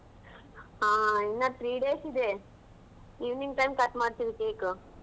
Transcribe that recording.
ಹಾ ಇನ್ನ three days ಇದೆ. evening time cut ಮಾಡ್ತೀವಿ cake .